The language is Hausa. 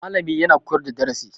Malami yana koyar da darasi